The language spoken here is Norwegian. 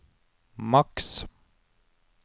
maks